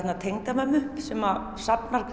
tengdamömmu sem safnar